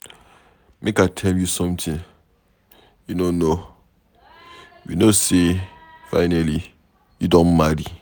Make I tell you something you no know. We know say finally you don marry.